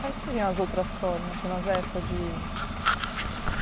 Quais seriam as outras formas, Dona Zé,?